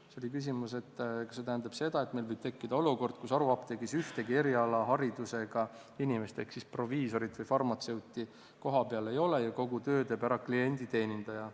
Siis oli küsimus, kas see tähendab seda, et meil võib tekkida olukord, kus haruapteegis ühtegi erialaharidusega inimest ehk siis proviisorit või farmatseuti kohapeal ei ole ja kogu töö teeb ära klienditeenindaja.